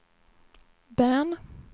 Bern